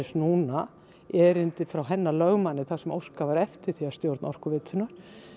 núna erindi frá hennar lögmanni þar sem óskað var eftir því að stjórn Orkuveitunnar